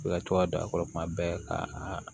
I ka to ka don a kɔrɔ kuma bɛɛ ka a